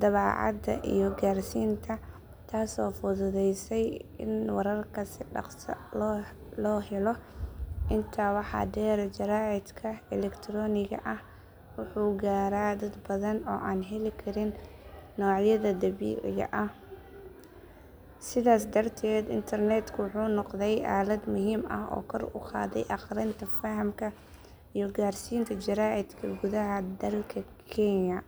daabacaadda iyo gaarsiinta taasoo fududeysay in wararka si dhakhso leh loo helo. Intaa waxaa dheer jaraa’idka elektarooniga ah wuxuu gaaraa dad badan oo aan heli karin noocyadii daabacan. Sidaas darteed internetku wuxuu noqday aalad muhiim ah oo kor u qaadday akhrinta, fahamka, iyo gaarsiinta jaraa’idka gudaha dalka kenya.